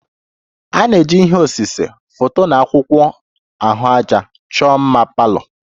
A na-eji ihe osise, foto na akwụkwọ ahụaja chọọ mma palour